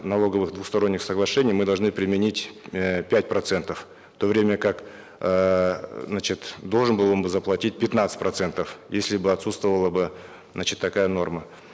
налоговых двусторонних соглашений мы должны применить э пять процентов в то время как эээ значит должен был он бы заплатить пятнадцать процентов если бы отсутствовала бы значит такая норма